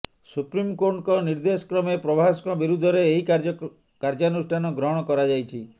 supreme କୋର୍ଟଙ୍କ ନିର୍ଦ୍ଦେଶ କ୍ରମେ ପ୍ରଭାସଙ୍କ ବିରୁଦ୍ଧରେ ଏହି କାର୍ଯ୍ୟାନୁଷ୍ଠାନ ଗ୍ରହଣ କରାଯାଇଛି